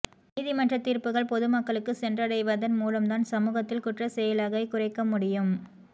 நீதிமன்ற தீர்ப்புக்கள் பொது மக்களுக்கு சென்றடைவதன் மூலம்தான் சமூகத்தில் குற்றச்செயலகைக் குறைக்க முடியும்